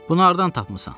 Bunu hardan tapmısan?